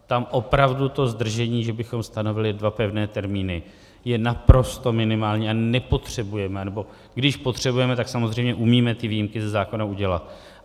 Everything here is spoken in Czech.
Tam opravdu to zdržení, že bychom stanovili dva pevné termíny, je naprosto minimální a nepotřebujeme - anebo když potřebujeme, tak samozřejmě umíme ty výjimky ze zákona udělat.